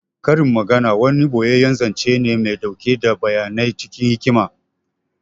Karin magana wani ɓoyeyyen zance ne mai ɗauke da bayanai cikin hikima